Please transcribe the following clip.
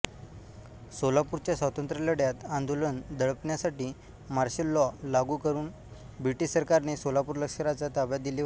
सोलापूरच्या स्वातंत्र्यलढ्यात आंदोलन दडपण्यासाठी मार्शल लॉ लागू करून ब्रिटिश सरकारने सोलापूर लष्कराच्या ताब्यात दिले होते